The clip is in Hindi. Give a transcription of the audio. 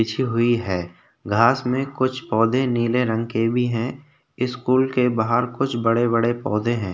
बिछी हुई है घास में कुछ पौधे नीले रंग के भी है स्कूल के बाहर कुछ बड़े बड़े पौधे है।